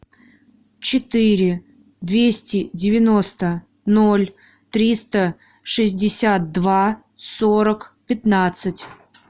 четыре двести девяносто ноль триста шестьдесят два сорок пятнадцать